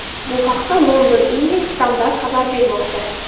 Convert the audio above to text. Bu haqda London Evening Standard xabar bermoqda .